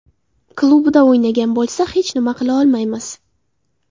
Klubida o‘ynagan bo‘lsa hech nima qila olmaymiz.